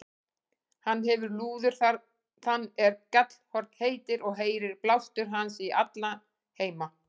Hann hefir lúður þann er Gjallarhorn heitir, og heyrir blástur hans í alla heima.